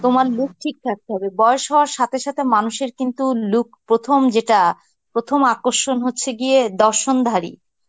তোমার look ঠিক থাকতে হবে. বয়স হওয়ার সাথে সাথে মানুষের কিন্তু look প্রথম যেটা, প্রথম আকর্ষণ হচ্ছে গিয়ে দর্শনধারী.